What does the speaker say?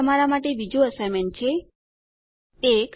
અહીં તમારા માટે બીજું અસાઇનમેન્ટ છે ૧